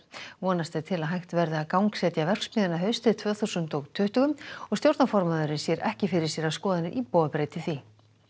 vonast er til að hægt verði að gangsetja verksmiðjuna haustið tvö þúsund og tuttugu og stjórnarformaðurinn sér ekki fyrir sér að skoðanir íbúa breyti því